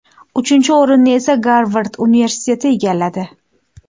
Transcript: Uchinchi o‘rinni esa Garvard universiteti egalladi.